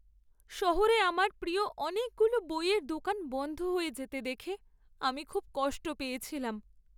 শহরে আমার প্রিয় অনেকগুলো বইয়ের দোকান বন্ধ হয়ে যেতে দেখে আমি খুব কষ্ট পেয়েছিলাম।